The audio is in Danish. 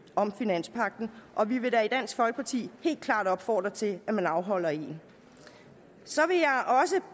om finanspagten og vi vil da i dansk folkeparti helt klart opfordre til at man afholder en så